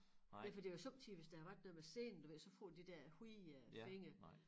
Ja for det jo somme tider hvis der har været noget med senen du ved så får de der hvide øh fingre